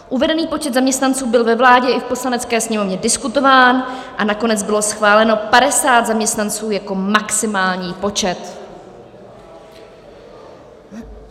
Uvedený počet zaměstnanců byl ve vládě i v Poslanecké sněmovně diskutován a nakonec bylo schváleno 50 zaměstnanců jako maximální počet.